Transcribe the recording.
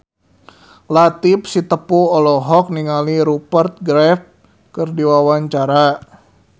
Latief Sitepu olohok ningali Rupert Graves keur diwawancara